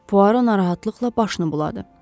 Puaro narahatlıqla başını buladı.